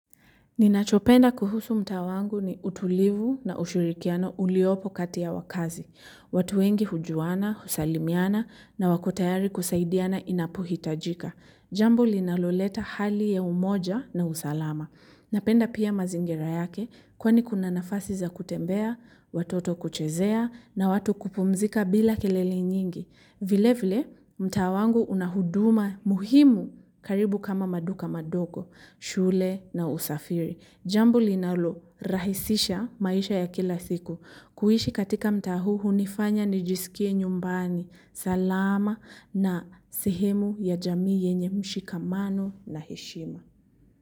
Ninachopenda kuhusu mtaa wangu ni utulivu na ushirikiano uliopo kati ya wakazi. Watu wengi hujuana, husalimiana na wako tayari kusaidiana inapohi tajika. Jambo linaloleta hali ya umoja na usalama. Napenda pia mazingira yake kwani kuna nafasi za kutembea, watoto kuchezea na watu kupumzika bila kelele nyingi. Vile vile mtaa wangu una huduma muhimu karibu kama maduka madogo, shule na usafiri. Jambo linalo rahisisha maisha ya kila siku. Kuishi katika mtaa huu hunifanya nijisikie nyumbani. Salama na sehemu ya jamii yenye mshikamano na heshima.